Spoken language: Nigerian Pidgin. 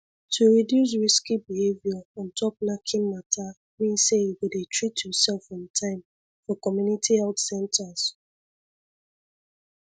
to reduce risky behavior ontop knacking matter mean say you go dey treat yourself on time for community health centres